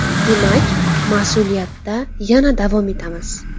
Demak, mas’uliyatda yana davom etamiz”.